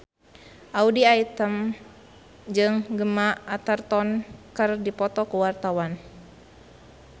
Audy Item jeung Gemma Arterton keur dipoto ku wartawan